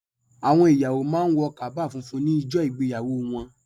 Àwọn ìyàwó má a ń wọ kaba funfun ní ijọ́ ìgbéyàwó wọn